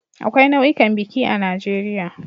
Akwai nau'ikan biki a Najeriya